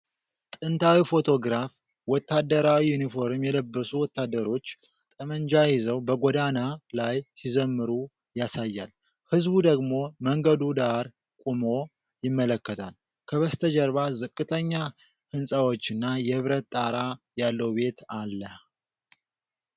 ጥንታዊ ፎቶግራፍ ወታደራዊ ዩኒፎርም የለበሱ ወታደሮች ጠመንጃ ይዘው በጎዳና ላይ ሲዘምሩ ያሳያል። ሕዝቡ ደግሞ መንገዱ ዳር ቆሞ ይመለከታል። ከበስተጀርባ ዝቅተኛ ሕንጻዎችና የብረት ጣራ ያለው ቤት አለ።